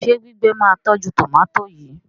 ṣe gbígbé má tọjú tomati yí?